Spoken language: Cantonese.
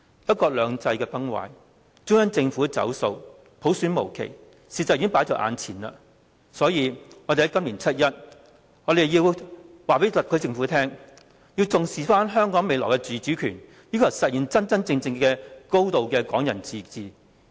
"一國兩制"崩壞，中央政府"走數"，普選無期，事實已經放在眼前，所以我們在今年七一要告訴特區政府，要重視香港未來的自主權，要求實現真正的"港人高度自治"。